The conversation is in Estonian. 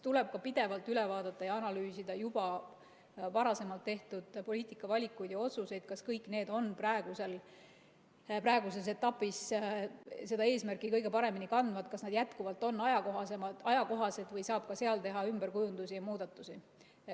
Tuleb pidevalt üle vaadata ja analüüsida varasemalt tehtud poliitikavalikuid ja otsuseid, kas kõik need praeguses etapis kannavad eesmärki kõige paremini, kas nad jätkuvalt on ajakohased või saab teha ümberkujundusi ja muudatusi.